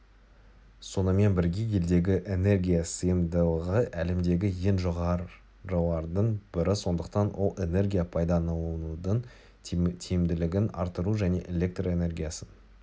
сонымен бірге елдегі энергия сыйымдылығы әлемдегі ең жоғарылардың бірі сондықтан ол энергия пайдаланудың тиімділігін арттыру және электр энергиясын